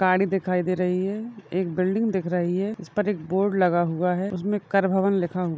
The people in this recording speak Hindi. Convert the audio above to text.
गाडी दिखाई दे रही है एक बिल्डिंग दिख रही है इस पर एक बोर्ड लगा हुवा है उसमे कर भवन लिखा हुवा है।